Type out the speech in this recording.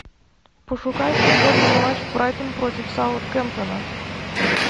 пошукай футбольный матч брайтон против саутгемптона